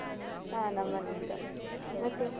ಹ ನಮ್ಮನೆಲ್ಲೂ ಸ ಹುಷಾರಿದ್ದಾರೆ